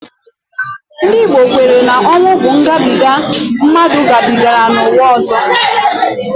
Ndị Igbo kwere na ọnwu bụ ngabiga mmadụ gabigara n'ụwa ọzọ